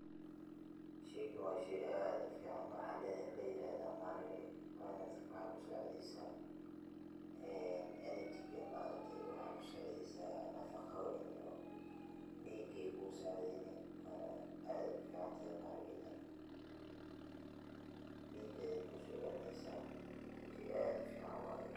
Sheeygan waa sheey aad uu ficaan waaxa la yirahdaa maharagee. waxeyna dadka kusaciidysaa ee energy[sc] ma araagtay waaxeyna kusaacideysaa nafaaqooyin iyo dhiigey kusacideyni aad uu ficaantahay maharageydan dhiiga ayeey kusocelinysaa sheey aad uu ficaan waaye.